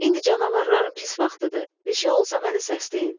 İndi canavarların pis vaxtıdır, bir şey olsa məni səsləyin.